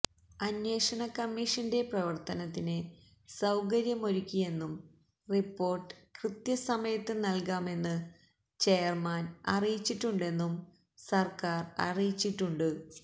അന്വേഷണ കമ്മീഷന്റെ പ്രവര്ത്തനത്തിന് സൌകര്യമൊരുക്കിയെന്നും റിപ്പോര്ട്ട് കൃത്യസമയത്ത് നല്കാമെന്ന് ചെയര്മാന് അറിയിച്ചിട്ടുണ്ടെന്നും സര്ക്കാര് അറിയിച്ചിട്ടുണ്ട്